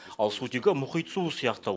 ал сутегі мұхит суы сияқты